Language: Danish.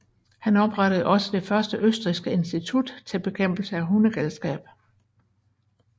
Han oprettede også det første østrigske institut til bekæmpelse af hundegalskab